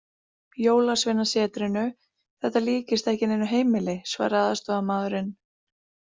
Jólasveinasetrinu, þetta líkist ekki neinu heimili, svaraði aðstoðarmaðurinn.